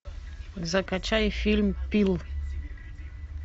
закачай фильм пил